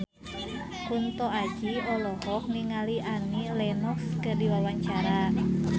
Kunto Aji olohok ningali Annie Lenox keur diwawancara